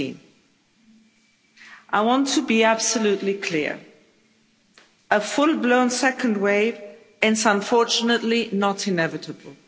19. I want to be absolutely clear a full blown second wave is, unfortunately, not inevitable.